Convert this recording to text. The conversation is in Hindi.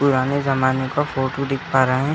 पुराने जमाने का फोटो दिख पा रहा हैं।